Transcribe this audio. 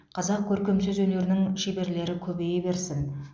қазақ көркем сөз өнерінің шеберлері көбейе берсін